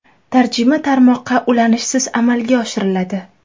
Tarjima tarmoqqa ulanishsiz amalga oshiriladi.